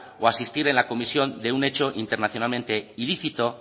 o asistir en la comisión de un hecho internacionalmente ilícito